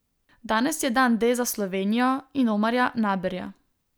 Danes je dan D za Slovenijo in Omarja Naberja.